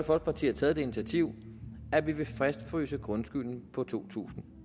folkeparti har taget det initiativ at vi vil fastfryse grundskylden på to tusind